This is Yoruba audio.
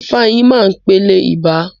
Ifeanyi máa pẹlẹ ibà.